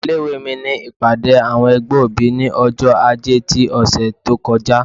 ilé ìwé mí ní ìpàdé awọn ẹgbẹ́ obí, ní ọjọ-ajé tí òsé tó kọjá